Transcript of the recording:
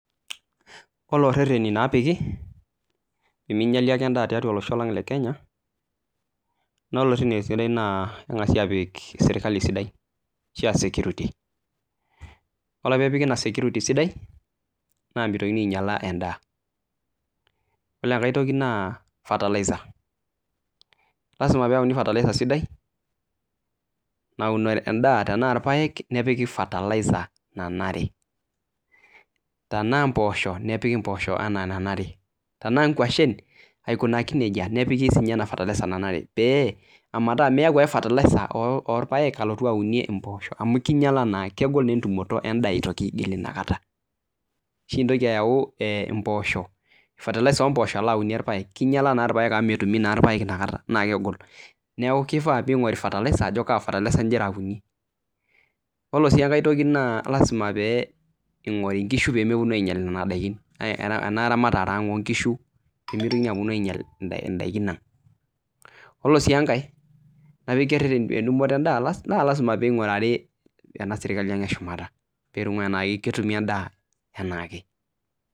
Ore rereni napiki peminyali ake endaa tolosho le kenya na kengasi apik serkali sidai ashu security ore pipiki ina security sidai ore enkae toki na fertiliser lasima peyauni esidai naun endaa tanaa kesidai nepiki fertiliser nanare tanaa mpoosho nepiki ana enanare tanaa nkwashen aikunaki nejia nepiki enanaere ametaa miyau ake fertiliser orpaek alotu aunie mpoosho amu kinyala na kegol entumoto endaa inakata ashi intoki ayau fertiliser ompooso alaunie irpaek, kinyala na irpaek amu na kegol neaku kifaa pinguri fertiliser piyiolou ajo kaa fertiliser ingira aunishore yiolo si enkae toki na lasima pingori nkishu pemeponu ainyel inadakini enaramatare aang onkushu pimitoki aponu ainyal ndakin yiolosi enkae tentumotobendaa na lasima pingurari enaserkali aang eshumata peingurari ana ketumi endaa nanyae.